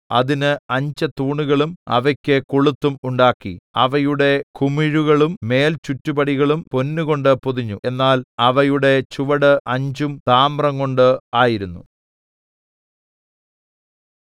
അതിന് അഞ്ച് തൂണുകളും അവയ്ക്ക് കൊളുത്തും ഉണ്ടാക്കി അവയുടെ കുമിഴുകളും മേൽചുറ്റുപടികളും പൊന്നുകൊണ്ട് പൊതിഞ്ഞു എന്നാൽ അവയുടെ ചുവട് അഞ്ചും താമ്രംകൊണ്ട് ആയിരുന്നു